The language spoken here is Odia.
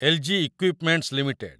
ଏଲ୍‌.ଜି. Equipments limited